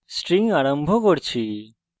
আমরা string আরম্ভ করতে যাচ্ছি